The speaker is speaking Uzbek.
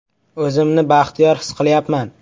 O‘zimni baxtiyor his qilyapman.